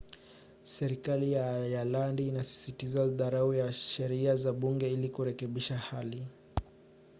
serikali ya ayalandi inasisitiza dharura ya sheria za bunge ili kurekebisha hali